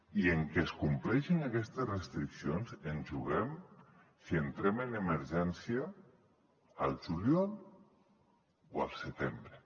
i en que es compleixin aquestes restriccions ens juguem si entrem en emergència al juliol o al setembre